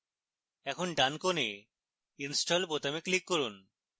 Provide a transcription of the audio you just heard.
এখন ডান corner install বোতামে click করুন